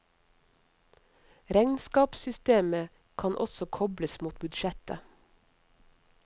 Regnskapssystemet kan også kobles mot budsjett.